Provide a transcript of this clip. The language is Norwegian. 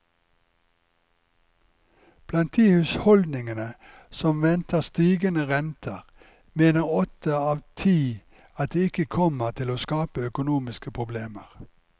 Blant de husholdningene som venter stigende renter, mener åtte av ti at det ikke kommer til å skape økonomiske problemer.